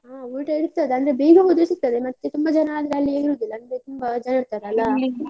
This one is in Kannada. ಹಾ ಊಟ ಇರ್ತದೆ, ಅಂದ್ರೆ ಬೇಗ ಹೋದ್ರೆ ಸಿಗ್ತದೆ. ಮತ್ತೆ ತುಂಬ ಜನ ಆದ್ರೆ ಅಲ್ಲಿ ಇರುದಿಲ್ಲ ಅಂದ್ರೆ ತುಂಬ ಜನ ಇರ್ತಾರಲ್ಲಾ